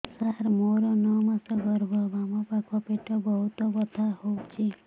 ସାର ମୋର ନଅ ମାସ ଗର୍ଭ ବାମପାଖ ପେଟ ବହୁତ ବଥା ହଉଚି